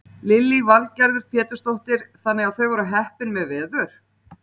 Lillý Valgerður Pétursdóttir: Þannig að þau voru heppin með veður?